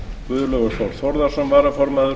guðlaugur þór þórðarson varaformaður